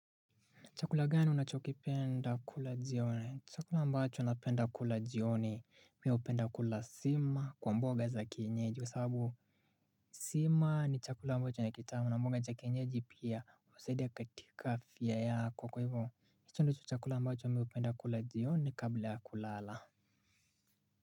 Chakula gani unachokipenda kula jioni? Chakula ambacho napenda kula jioni mimi hupenda kula sima kwa mboga za kinyeji kwa sababu sima ni chakula ambacho ni kitamu na mboga za kinyeji pia husadia katika afia yako. Kwa hivyo, hicho ndicho chakula ambacho mimi hupenda kula jioni kabla ya kulala.